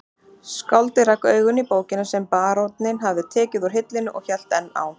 Skáldið rak augun í bókina sem baróninn hafði tekið úr hillunni og hélt enn á